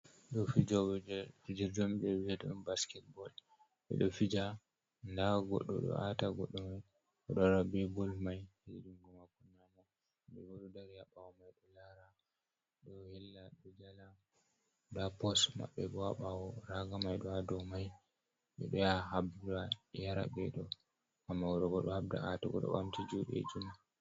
Ɗo fijoɓe je fijirde on ɓe viata on basketball be do fija nda goɗɗo do ata goɗɗo mai odo wara be bol mai ha jungo mako nyamo ɓeɗo do dari ha bawo mai ɗo lara ɗo hella ɓeɗo jala nda pos maɓɓe bo ha bawo raga mai do hado mai be do yaha habda yara ɓe ɗo, amma oɗo bo ɗo habda ata goto ɓamti juɗeji mako.